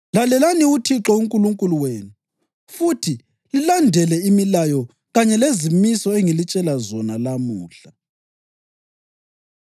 Lalelani uThixo uNkulunkulu wenu futhi lilandele imilayo kanye lezimiso engilitshela zona namuhla.”